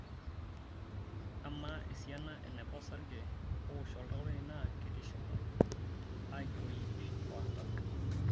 Amaa esina eneba osarge owosh oltau lai naa ketii shumata(agiroo iip o artam)